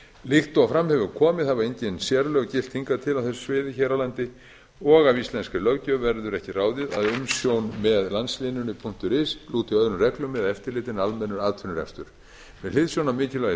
líkt og fram hefur komið hafa engin sérlög gilt hingað til á þessu sviði hér á landi og af íslenskri löggjöf verður ekki ráðið að umsjón með landsléninu is lúti öðrum reglum eða eftirliti en almennur atvinnurekstur með hliðsjón af mikilvægi